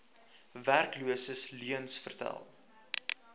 werkloses leuens vertel